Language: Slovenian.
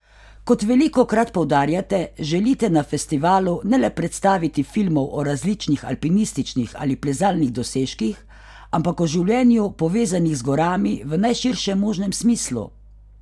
Kot velikokrat poudarjate, želite na festivalu ne le predstaviti filmov o različnih alpinističnih ali plezalnih dosežkih, ampak o življenju, povezanih z gorami, v najširšem možnem smislu?